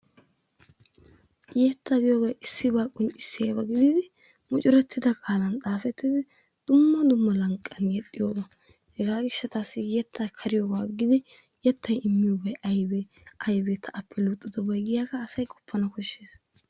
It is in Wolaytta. yettaa giyoogee issibaa qonccisiyaaba gididi mucurettidaa qaalan xaafettidi dumma dummaban qaygnayettiyaaba. Hegaa giishataassi yettaa kariyoogaa aggidi yeettay immiyoobay aybee? aybee ta appe luxxidobay giyaagaa asay qoppanawu kooshshees.